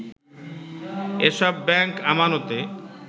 এসব ব্যাংক আমানতে